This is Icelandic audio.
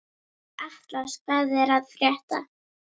Atlas, hvað er að frétta?